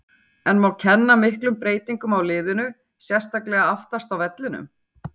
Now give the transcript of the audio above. En má kenna miklum breytingum á liðinu, sérstaklega aftast á vellinum?